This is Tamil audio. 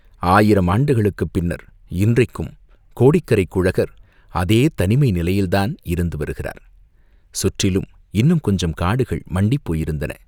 ஆயிரம் ஆண்டுகளுக்குப் பின்னர் இன்றைக்கும் கோடிக்கரைக் குழகர் அதே தனிமை நிலையில்தான் இருந்து வருகிறார் சுற்றிலும் இன்னும் கொஞ்சம் காடுகள் மண்டிப் போயிருந்தன.